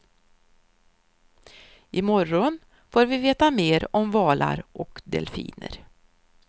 I morgon får vi veta mer om valar och delfiner.